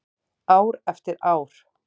Ár eftir ár.